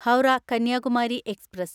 Howrah Kanyakumari express